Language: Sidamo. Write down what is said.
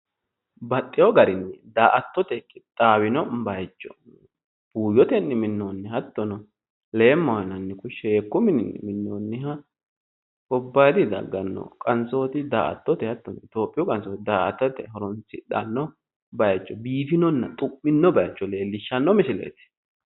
Baxxiwo garinni daa"atote qixxaawino bayicho. Buuyyotenni minnoonni hattono leemmaho yinanni sheekkunni minnoonniha gobbayidii dagganno qansooti daa"attote hattono itiyoophiyu qansooti daa"attote horoonsidhanno bayicho biifinona xu'mino bayicho leellishshanno misileeti.